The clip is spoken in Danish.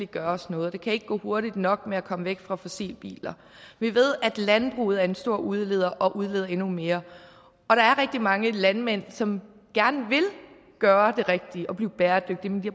gøres noget det kan ikke gå hurtigt nok med at komme væk fra fossilbiler vi ved at landbruget er en stor udleder og udleder endnu mere og der er rigtig mange landmænd som gerne vil gøre det rigtige og blive bæredygtige men de